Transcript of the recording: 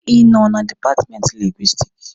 Ị nọ na dipatmenti Lingwisitiki?